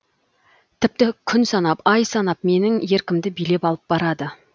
тіпті күн санап ай санап менің еркімді билеп алып барады